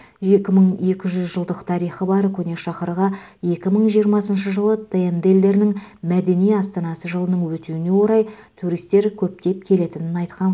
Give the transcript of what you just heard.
екі мың екі жүз жылдық тарихы бар көне шаһарға екі мың жиырмасыншы жылы тмд елдерінің мәдени астанасы жылының өтуіне орай туристер көптеп келетінін айтқан